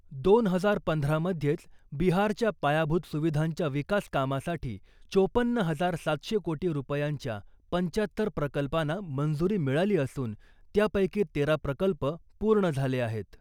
दोन हजार पंधरा मध्येच बिहारच्या पायाभूत सुविधांच्या विकासकामासाठी चोपन्न हजार सातशे कोटी रुपयांच्या पंचाहत्तर प्रकल्पाना मंजुरी मिळाली असून , त्यापैकी तेरा प्रकल्प पूर्ण झाले आहेत .